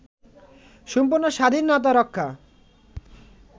সম্পূর্ণ স্বাধীনতা-রক্ষা